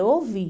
Eu ouvi.